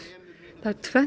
það er tvennt